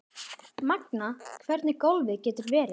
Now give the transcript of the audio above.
Magnað hvernig golfið getur verið.